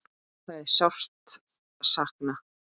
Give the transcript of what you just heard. Það er sárt sakna.